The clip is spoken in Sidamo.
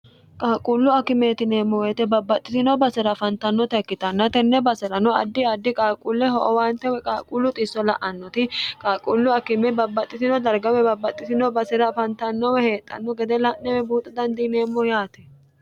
qaaqquullu akimeetineemmo woyite babbaxxitino basi'ra afantannota ikkitanna tenne basi'rano addi addi qaalquulle ho owaante we qaaqquullu xisso la'annoti qaaqquullu akime babbaxxitino dargawe babbaxxitino basi'ra afantannome heexxanno gede la'newe buuxo dandiineemmo yaate